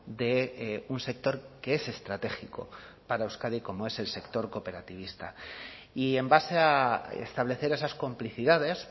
de un sector que es estratégico para euskadi como es el sector cooperativista y en base a establecer esas complicidades